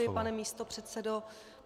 Děkuji, pane místopředsedo.